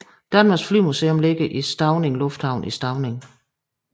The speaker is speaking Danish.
Danmarks Flymuseum ligger i Stauning Lufthavn i Stauning